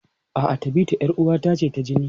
A'a, Tabita 'yar uwata ce ta jini.